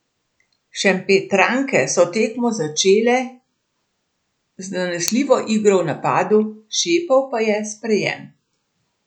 Šempetranke so tekmo začele z zanesljivo igro v napadu, šepal pa je sprejem.